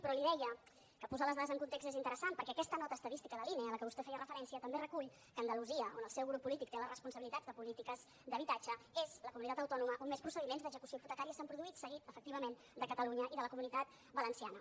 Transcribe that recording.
però li deia que posar les dades en context és interessant perquè aquesta nota estadística de l’ine a la qual vostè feia referència també recull que andalusia on el seu grup polític té la responsabilitat de polítiques d’habitatge és la comunitat autònoma on més procediments d’execució hipotecària s’han produït seguit efectivament de catalunya i de la comunitat valenciana